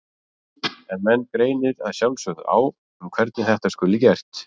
En menn greinir að sjálfsögðu á um hvernig þetta skuli gert.